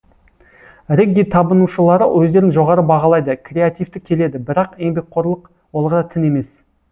рэгги табынушылары өздерін жоғары бағалайды креативті келеді бірақ еңбекқорлық олға тін емес